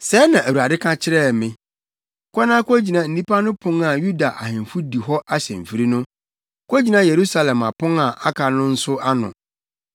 Sɛɛ na Awurade ka kyerɛɛ me, “Kɔ na kogyina nnipa no pon a Yuda ahemfo di hɔ ahyɛmfiri no; kogyina Yerusalem apon a aka no nso ano.